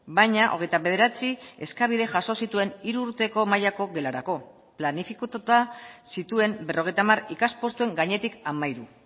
baina hogeita bederatzi eskabide jaso zituen hiru urteko mailako gelarako planifikatuta zituen berrogeita hamar ikaspostuen gainetik hamairu